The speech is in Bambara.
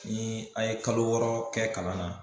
Ni a ye kalo wɔɔrɔ kɛ kalan na